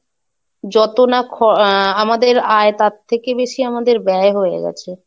যত না খ আহ আমাদের আয় তার থেকে বেশি আমাদের ব্যয় হয়ে গেছে।